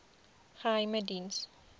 geheimediens